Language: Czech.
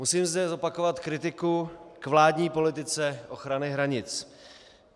Musím zde zopakovat kritiku k vládní politice ochraně hranic.